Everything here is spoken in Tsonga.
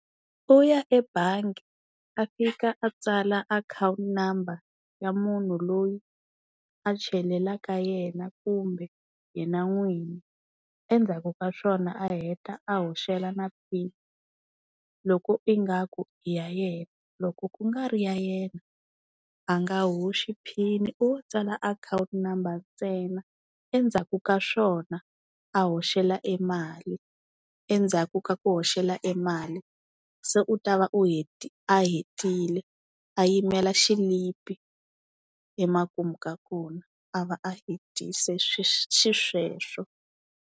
U ya ebangi a fika a tsala akhawunti number ya munhu loyi a chelelaka yena kumbe yena n'wini. Endzhaku ka swona a heta a hoxela na pin, loko ingaku i ya yena, loko ku nga ri ya yena a nga hoxi pin i wo tsala akhawunti number ntsena endzhaku ka swona a hoxela e mali. Endzhaku ka ku hoxela e mali se u ta va u a hetile a yimela xilipi emakumu ka kona a va a hetise xisweswo.